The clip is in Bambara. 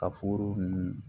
Ka foro nunnu